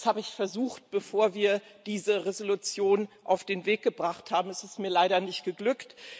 Das habe ich versucht, bevor wir diese Entschließung auf den Weg gebracht haben. Es ist mir leider nicht geglückt.